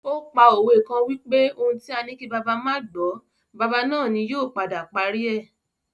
O pa òwe kan wipe "ohun tí a ní kí bàbá má gbọ̀ọ́, bàbá náà ni yóò padà parí rẹ̀!"